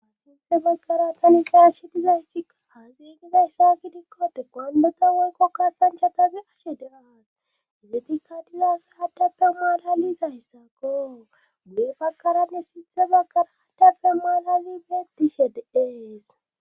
asinthe baggara panxaashi dizaysi haziigizayssa gidikkote ganbota woyko kasanchata fifshe deraas zetikka dilase haddappe maala liizayssakko guye bakaranne sidxhe bagkara haddappe maalalibeetishe deees